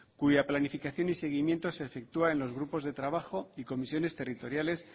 cuya planificación y seguimiento se efectúa en los grupos de trabajo y comisiones territoriales